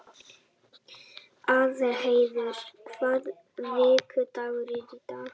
Aðalheiður, hvaða vikudagur er í dag?